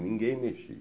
Ninguém mexia.